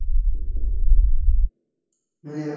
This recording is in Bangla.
মানে